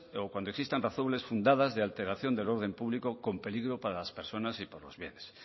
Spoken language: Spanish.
o cuando existan razones fundadas de alteración del orden público con peligro para las personas y para los bienes